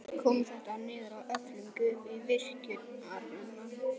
Mest kom þetta niður á öflun gufu til virkjunarinnar.